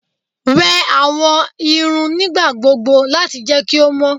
Wẹ awọn ẹru nigbagbogbo lati jẹ ki o mọ